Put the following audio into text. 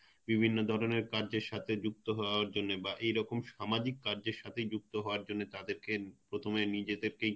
বিভিন্ন ধরনের কাজের সাথে যুক্ত হওয়ার জন্যে বা এরকম সামাজিক কাজের সাথে যুক্ত হওয়ার জন্যে হওয়ার জন্যে তাদের কে তুমি নিজে থেকেই